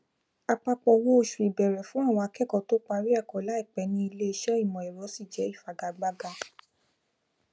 apapọ owó oṣù ìbẹrẹ fún àwọn akẹkọọ tó parí ẹkọ laipẹ ní iléiṣẹ imọẹrọ ṣi jẹ ifigagbaga